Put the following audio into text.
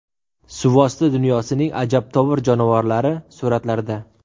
Suvosti dunyosining ajabtovur jonivorlari suratlarda.